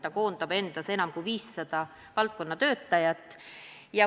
Ta koondab endas enam kui 500 selle valdkonna töötajat.